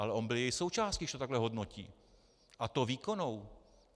Ale on byl její součástí, když to takhle hodnotí, a to výkonnou.